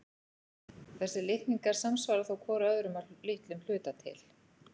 Þessir litningar samsvara þó hvor öðrum að litlum hluta til.